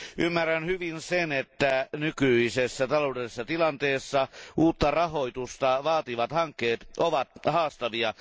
Ymmärrän hyvin sen, että nykyisessä taloudellisessa tilanteessa uutta rahoitusta vaativat hankkeet ovat haastavia.